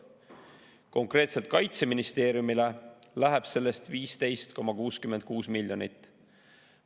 Konkreetselt Kaitseministeeriumile läheb sellest 15,66 miljonit.